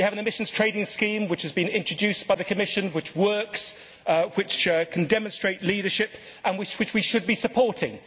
We have an emissions trading scheme which has been introduced by the Commission which works, which can demonstrate leadership and which we should be supporting.